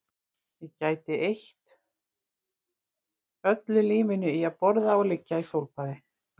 Ég gæti eytt öllu lífinu í að borða og liggja í sólbaði